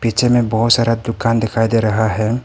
पीछे मे बहोत सारा दुकान दिखाई दे रहा है।